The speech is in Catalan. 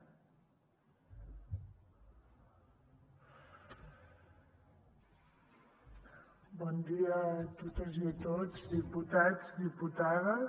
bon dia a totes i a tots diputats diputades